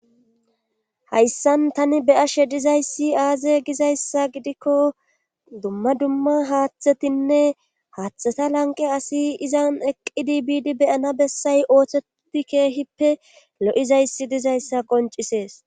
hayssan tani beyashe dizayssi aaze gizayssa gidikko dumma dumma haaththetinne haaththeta lanqe asi izan eqqidi biidi beyana bessay ooththeti keehippe lo7izayssi dizayssa qoncisees